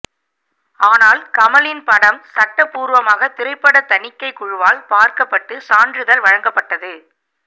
ஆனால் கமலின் படம் சட்ட பூர்வமாக திரைப்படத் தணிக்கைக் குழுவால் பார்க்கப் பட்டு சான்றிதழ் வழங்கப் பட்டது